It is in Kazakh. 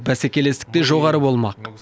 бәсекелестік те жоғары болмақ